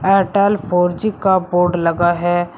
Airtel four G का board लगा है।